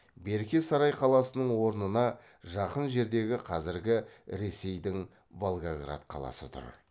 берке сарай қаласының орнына жақын жердегі қазіргі ресейдің волгоград қаласы тұр